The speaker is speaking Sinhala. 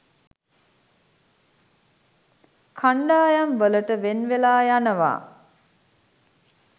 කණ්ඩායම්වලට වෙන්වෙලා යනවා